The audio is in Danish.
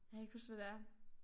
Jeg kan ikke huske hvad det er